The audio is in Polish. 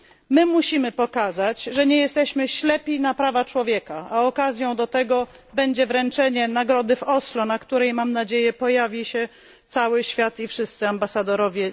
My musimy pokazać, że nie jesteśmy ślepi na prawa człowieka, a okazją do tego będzie wręczenie nagrody w Oslo, na którym mam nadzieję pojawi się cały świat i wszyscy ambasadorowie.